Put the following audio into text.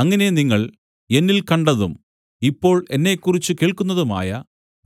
അങ്ങനെ നിങ്ങൾ എന്നിൽ കണ്ടതും ഇപ്പോൾ എന്നെക്കുറിച്ച് കേൾക്കുന്നതുമായ